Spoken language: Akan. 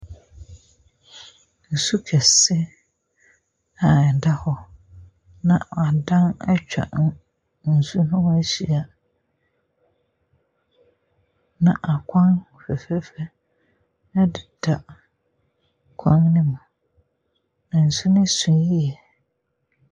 Nsu kɛse a ɛda hɔ na adan atwa ho nsuo ne ho ahyia, na akwan fɛfɛɛfɛ deda kwan ne mu, na nsu no so yie.